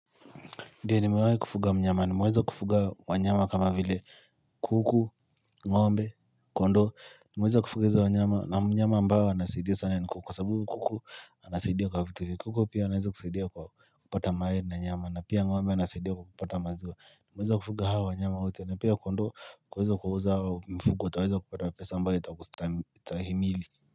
Ndiyo nimewahi kufuga mnyama. Nimeweza kufuga wanyama kama vile kuku, ngombe, kondoo Nimeweza kufuga wanyama na mnyama ambao anasaidia sana ni kuku. Kuku anasaidia kwa vitu. Kuku pia anaweza kusaidia kwa kupata mayai na nyama na pia ng'ombe anasaidia kwa kupata maziwa Nimeweza kufuga hao wanyama wote na pia kondoo kuweza kuuza hao mfugo ataweza kupata pesa ambayo itakustahimili.